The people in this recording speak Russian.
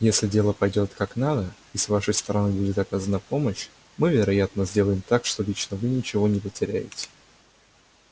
если дело пойдёт как надо и с вашей стороны будет оказана помощь мы вероятно сделаем так что лично вы ничего не потеряете